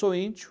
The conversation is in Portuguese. Sou índio.